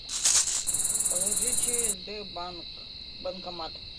положи через сбербанк банкомат